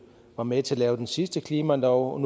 var med til at lave den sidste klimalov og